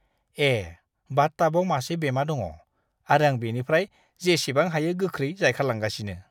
ए, बाथ-टाबआव मासे बेमा दङ आरो आं बेनिफ्राय जेसेबां हायो गोख्रै जायखारलांगासिनो!